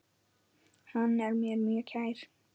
Hann var mér mjög kær.